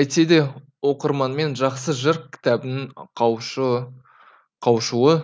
әйтсе де оқырманмен жақсы жыр кітабының қауышуы